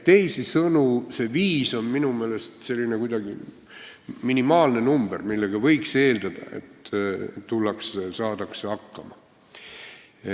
Teisisõnu, see viis on minu meelest kuidagi minimaalne number, mille korral võiks eeldada, et saadakse hakkama.